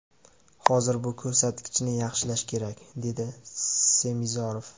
Hozir bu ko‘rsatkichni yaxshilash kerak”, dedi Semizorov.